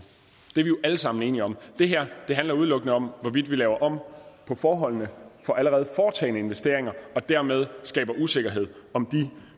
det er vi jo alle sammen enige om det her handler udelukkende om hvorvidt vi laver om på forholdene for allerede foretagne investeringer og dermed skaber usikkerhed om de